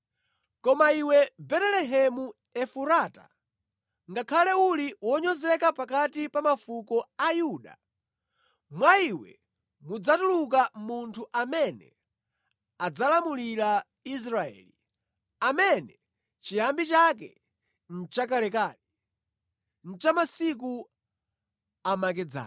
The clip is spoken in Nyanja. “Koma iwe Betelehemu Efurata, ngakhale uli wonyozeka pakati pa mafuko a Yuda, mwa iwe mudzatuluka munthu amene adzalamulira Israeli, amene chiyambi chake nʼchakalekale, nʼchamasiku amakedzana.”